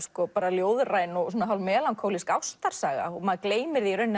ljóðræn og hálf melankólísk ástarsaga og maður gleymir því